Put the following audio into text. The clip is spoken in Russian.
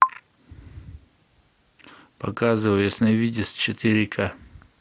показывай ясновидец четыре ка